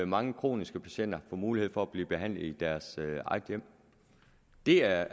mange kroniske patienter får mulighed for at blive behandlet i deres eget hjem det er